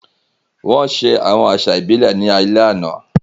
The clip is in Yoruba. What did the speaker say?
Wọ́n ṣe àwọn àṣà ìbílẹ̀ ní alẹ́ àná.